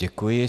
Děkuji.